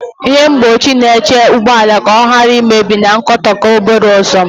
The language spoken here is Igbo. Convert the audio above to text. Ihe mgbochi na-echebe ụgbọ ala ka ọ ghara imebi na nkukota obere ọsọ.